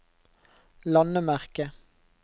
landemerke